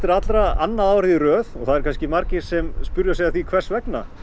allra annað árið í röð og það eru kannski margir sem spyrja sig að því hvers vegna